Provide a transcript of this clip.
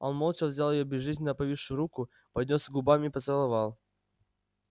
он молча взял её безжизненно повисшую руку поднёс к губам и поцеловал